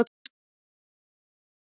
Þau hafði hann yfir í tíma og ótíma.